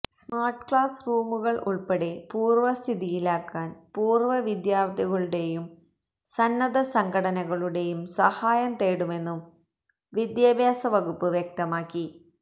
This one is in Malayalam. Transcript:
സ്മാര്ട് ക്ലാസ് റൂമുകള് ഉള്പ്പെടെ പൂര്വസ്ഥിതിയിലാക്കാന് പൂര്വവിദ്യാര്ഥികളുടേയും സന്നദ്ധസംഘടനകളുടേയും സഹായം തേടുമെന്നും വിദ്യാഭ്യാസ വകുപ്പ് വ്യക്തമാക്കി